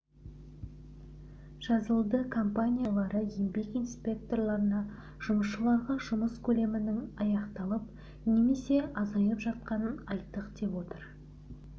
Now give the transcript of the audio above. жазылды компания басшылары еңбек инспекторларына жұмысшыларға жұмыс көлемінің аяқталып немесе азайып жатқанын айттық деп отыр